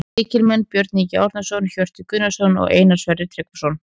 Lykilmenn: Björn Ingi Árnason, Hjörtur Gunnarsson og Einar Sverrir Tryggvason